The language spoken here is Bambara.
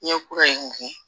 Ɲɛkura in gɛn